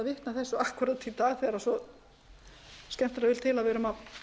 þessu akkúrat í dag þegar svo skemmtilega vill til að við erum að